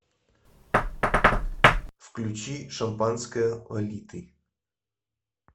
включи шампанское лолиты